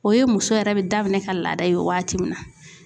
O ye muso yɛrɛ be daminɛ ka laada ye waati min na.